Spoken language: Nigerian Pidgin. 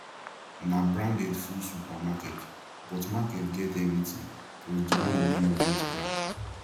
na branded full supermarket but market get everything plus the one wey no get brand